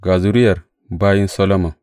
Ga zuriyar bayin Solomon.